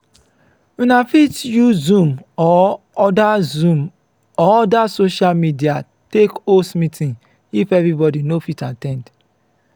una fit use zoom or oda zoom or oda social media take host meeting if everybody no fit at ten d